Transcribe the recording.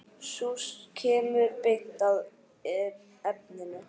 Sú kemur beint að efninu!